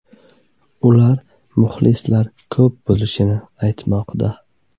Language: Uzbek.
Ular muxlislar ko‘p bo‘lishi aytmoqda.